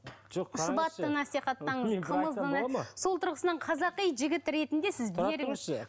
сол тұрғысынан қазақи жігіт ретінде сіз